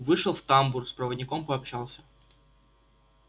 вышел в тамбур с проводником пообщался